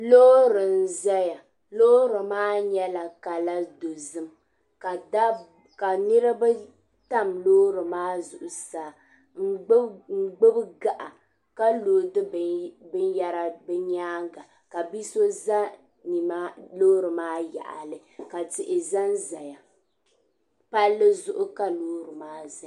loori n-zaya loori maa nyɛla kala dozim ka niriba tam loori maa zuɣusaa n gbubi gaɣa ka loodi binyara bɛ nyaanga ka bi' so za loori maa yaɣili ka tihi za n-zaya palli zuɣu ka loori maa zaya